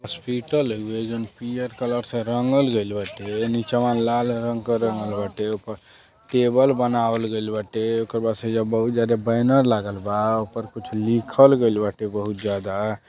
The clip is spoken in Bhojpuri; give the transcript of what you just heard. हॉस्पिटल हुउए जॉन पियर कलर से रंगल गईल बाटे। निचवा लाल रंग क रंगल बाटे ऊपर टेबल बनावल गईल बाटे उकेरे बात से बहुत जादे बैनर लागल बा ऊपर कुछ लिखल गईल बाटे बहुत ज्यादा।